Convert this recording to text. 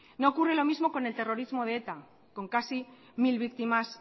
no ocurre lo mismo con el terrorismo de eta con casi mil víctimas